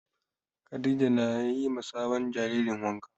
Khadija na yi ma sabon jaririn wanka